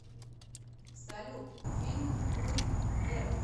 салют фильм буйвер